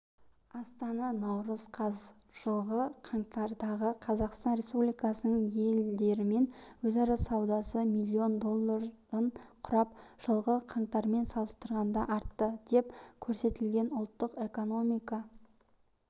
астана наурыз қаз жылғы қаңтардағы қазақстан республикасының елдерімен өзара саудасы миллион долларын құрап жылғы қаңтармен салыстырғанда артты деп көрсетілген ұлттық экономика